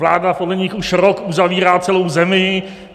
Vláda podle nich už rok uzavírá celou zemi.